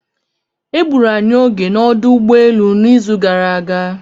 E gburu anyị oge na ọdụ ụgbọelu n'izu gara aga.